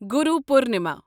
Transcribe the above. Guru Purnima